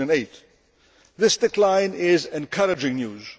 2008. This decline is encouraging news.